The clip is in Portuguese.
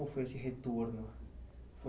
Como foi esse retorno?